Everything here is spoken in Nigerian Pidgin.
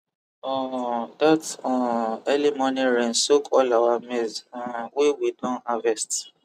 um that um early morning rain soak all our maize um wey we don harvest